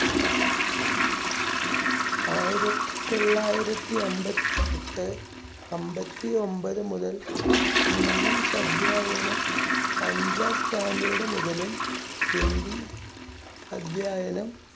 ആയിരത്തിതൊള്ളായിരത്തി അൻപത്തിഎട്ട്, അൻപത്തിഒൻപത് മുതൽ english അധ്യായനം അഞ്ചാം standard മുതലും ഹിന്ദി അധ്യായനം